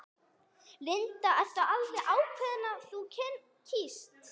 Linda: Ertu alveg ákveðin í hvað þú kýst?